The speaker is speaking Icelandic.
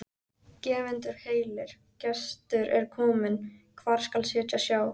Gefendur heilir, gestur er inn kominn, hvar skal sitja sjá?